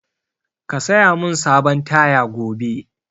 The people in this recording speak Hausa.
Ka saya mun sabon taya gobe!